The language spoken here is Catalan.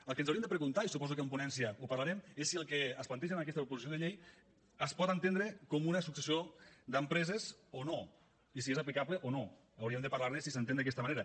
el que ens hauríem de preguntar i suposo que en ponència ho parlarem és si el que es planteja en aquesta proposició de llei es pot entendre com una successió d’empreses o no i si és aplicable o no hauríem de parlar ne si s’entén d’aquesta manera